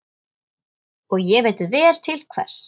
Og ég veit vel til hvers.